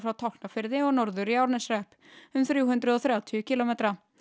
Tálknafirði og norður í Árneshrepp um þrjú hundruð og þrjátíu kílómetra